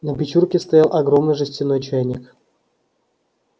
на печурке стоял огромный жестяной чайник